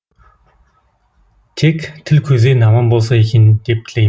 тек тіл көзден аман болса екен деп тілеймін